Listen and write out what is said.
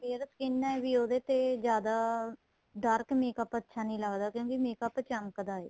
fair skin ਏ ਵੀ ਉਹਦੇ ਤੇ ਜਿਆਦਾ dark makeup ਅੱਛਾ ਨਹੀਂ ਲੱਗਦਾ ਕਿਉਂਕਿ makeup ਚਮਕਦਾ ਏ